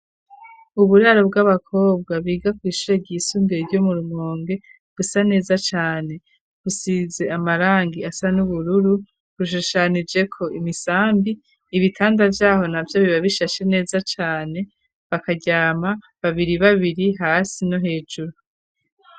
Uburaro bw'abakobwa biga ku ishure ryisumbuye ryo mu rumonge gusa neza cane, gusize amarangi asa n'ubururu, rushushanije ko imisambi ibitanda vyaho na byo biba bishashe neza cane bakajyama babiri babiri hasi no hejuru.